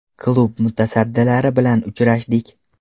Klub mutasaddilari bilan uchrashdik.